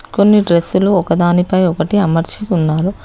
కొన్ని డ్రెస్సులు ఒకదానిపై ఒకటి అమర్చి ఉన్నారు